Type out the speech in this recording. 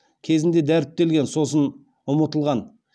кезінде дәріптелген сосын ұмытылған